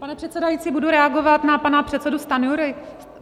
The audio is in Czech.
Pane předsedající, budu reagovat na pana předsedu Stanjuru.